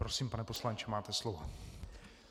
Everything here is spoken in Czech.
Prosím, pane poslanče, máte slovo.